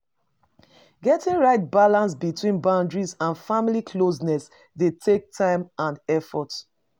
Getting right balance between boundaries and family closeness dey take time and effort.